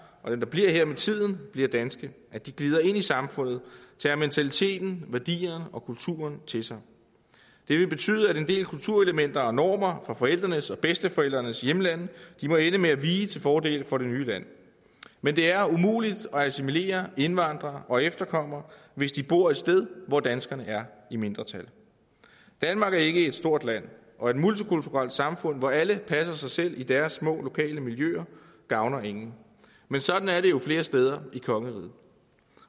og dem der bliver her med tiden bliver danske at de glider ind i samfundet og tager mentaliteten værdierne og kulturen til sig det vil betyde at en del kulturelementer og normer fra forældrenes og bedsteforældrenes hjemlande må ende med at vige til fordel for det nye lands men det er umuligt at assimilere indvandrere og efterkommere hvis de bor et sted hvor danskerne er i mindretal danmark er ikke et stort land og et multikulturelt samfund hvor alle passer sig selv i deres små lokale miljøer gavner ingen men sådan er det jo flere steder i kongeriget